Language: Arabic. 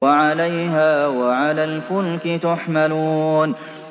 وَعَلَيْهَا وَعَلَى الْفُلْكِ تُحْمَلُونَ